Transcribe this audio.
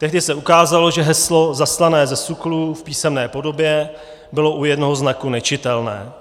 Tehdy se ukázalo, že heslo zaslané ze SÚKLu v písemné podobě bylo u jednoho znaku nečitelné.